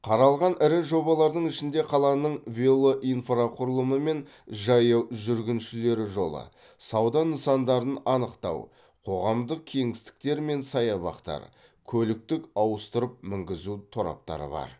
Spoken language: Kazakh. қаралған ірі жобалардың ішінде қаланың велоинфрақұрылымы мен жаяу жүргіншілер жолы сауда нысандарын анықтау қоғамдық кеңістіктер мен саябақтар көліктік ауыстырып мінгізу тораптары бар